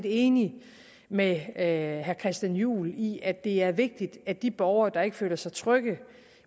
enig med herre christian juhl i at det er vigtigt at de borgere der ikke føler sig trygge